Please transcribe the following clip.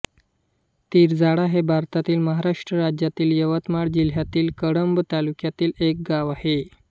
तिरझाडा हे भारतातील महाराष्ट्र राज्यातील यवतमाळ जिल्ह्यातील कळंब तालुक्यातील एक गाव आहे